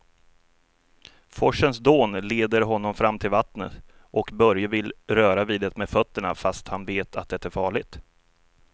Forsens dån leder honom fram till vattnet och Börje vill röra vid det med fötterna, fast han vet att det är farligt.